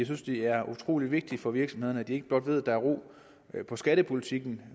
synes det er utrolig vigtigt for virksomhederne at de ikke blot ved at der er ro på skattepolitikken